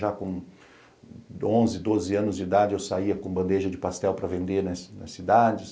Já com onze, doze anos de idade eu saía com bandeja de pastel para vender nas cidades.